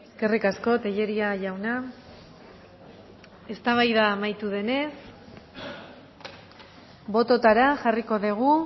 eskerrik asko tellería jauna eztabaida amaitu denez bototara jarriko dugu